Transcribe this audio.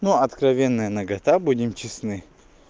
ну откровенная нагота будем честны